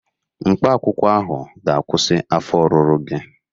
Mkpaakwụkwọ ahụ ga-akwụsị afọ ọrụrụ gị